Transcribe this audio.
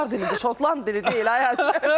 Avar dilini, şotland dili deyil ay qız.